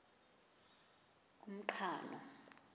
umqhano